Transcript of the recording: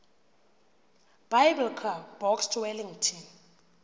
biblecor box wellington